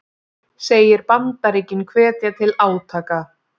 Segir Bandaríkin hvetja til átaka